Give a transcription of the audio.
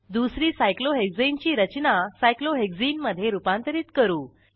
दुसरी सायक्लोहेक्साने ची रचना सायक्लोहेक्सने मधे रूपांतरित करू